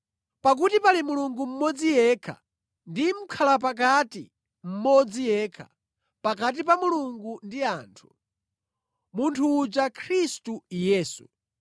Pakuti pali Mulungu mmodzi yekha ndi Mʼkhalapakati mmodzi yekha pakati pa Mulungu ndi anthu, munthu uja Khristu Yesu.